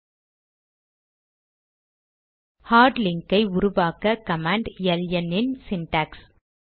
001252 001156 hard link ஐ உருவாக்க command LN இன் சிண்டாக்ஸ்